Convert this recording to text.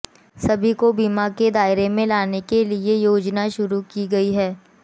सभी को बीमा के दायरे में लाने के लिये योजना शुरू की गयी है